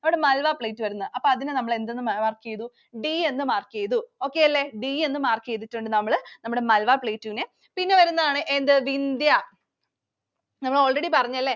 Malwa Plateau വരുന്നത്. അപ്പൊ അതിനു നമ്മൾ എന്ത് mark ചെയ്‌തു. D എന്ന് mark ചെയ്‌തു. Okay അല്ലെ. D എന്ന് mark ചെയ്‌തിട്ടുണ്ട്‌ നമ്മൾ നമ്മടെ Malwa Plateau നെ. പിന്നെ വരുന്നതാണ് എന്ത്? Vindya. നമ്മൾ already പറഞ്ഞല്ലേ.